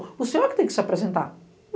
O senhor é que tem que se apresentar.